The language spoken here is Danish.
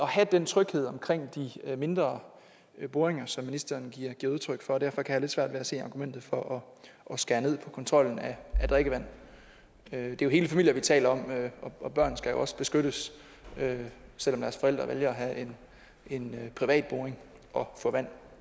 have den tryghed omkring de mindre boringer som ministeren giver udtryk for derfor kan lidt svært ved at se argumentet for at skære ned på kontrollen af drikkevand det er hele familier vi taler om og børn skal jo også beskyttes selv om deres forældre vælger at have en privat boring og får vand